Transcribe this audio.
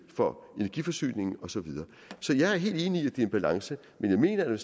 for energiforsyning og så videre så jeg er helt enig i at det er en balance men jeg mener at